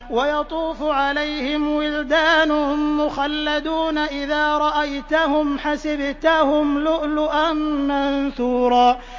۞ وَيَطُوفُ عَلَيْهِمْ وِلْدَانٌ مُّخَلَّدُونَ إِذَا رَأَيْتَهُمْ حَسِبْتَهُمْ لُؤْلُؤًا مَّنثُورًا